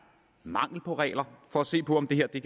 mangel på regler for at se på om det